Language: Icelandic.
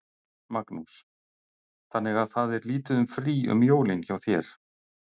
Magnús: Þannig að það er lítið um frí um jólin hjá þér?